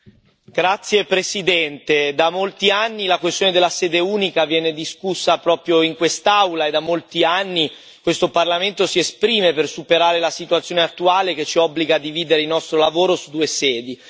Signor Presidente, onorevoli colleghi, da molti anni la questione della sede unica viene discussa proprio in quest'Aula, e da molti anni questo Parlamento si esprime per superare la situazione attuale che ci obbliga a dividere il nostro lavoro tra due sedi.